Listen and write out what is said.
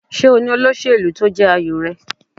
Ṣé o ní olóṣèlú tí ó jẹ́ àyò rẹ.?